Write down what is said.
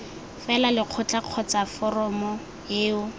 fela lekgotla kgotsa foramo eo